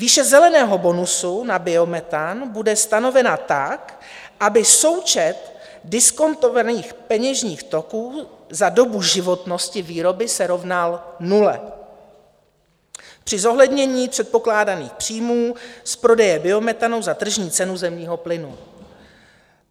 Výše zeleného bonusu na biometan bude stanovena tak, aby součet diskontovaných peněžních toků za dobu životnosti výroby se rovnal nule při zohlednění předpokládaných příjmů z prodeje biometanu za tržní cenu zemního plynu.